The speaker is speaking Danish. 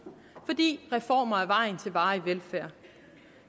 fordi reformer er vejen til varig velfærd